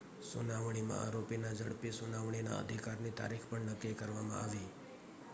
સુનાવણીમાં આરોપીના ઝડપી સુનાવણીના અધિકારની તારીખ પણ નક્કી કરવામાં આવી